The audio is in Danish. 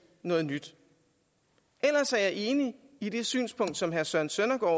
noget nyt ellers er jeg enig i det synspunkt som herre søren søndergaard